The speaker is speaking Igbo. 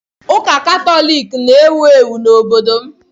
Ụka Katọlik na-ewu ewu n'obodo m.